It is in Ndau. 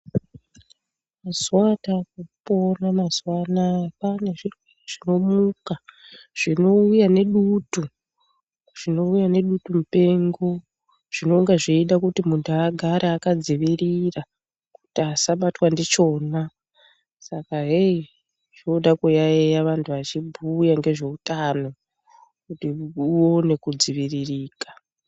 Mazuwa ata kupona mazuwa anaya kwaane zvirwere zvinomuka zvinouya nedutu ,zvinouya nedutu mupengo zvinonga zveida kuti munhu agare akadzivirira kuti asabatwa ndichona saka heyi zvoda kuyayeya vanhu vachibhuya ngezveutano kuti uone kudziviririka.